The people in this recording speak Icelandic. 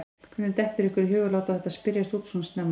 Hvernig dettur ykkur í hug að láta þetta spyrjast út svona snemma?